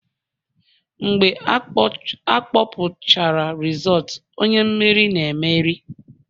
Mgbe akpọpụchara rizootu, onye mmeri na-emeri